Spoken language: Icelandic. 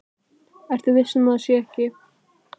Ertu viss um að hún sé ekki.